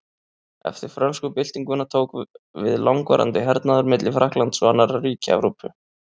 Eftir frönsku byltinguna tók við langvarandi hernaður milli Frakklands og annarra ríkja Evrópu.